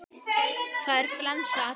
Það er flensa að ganga.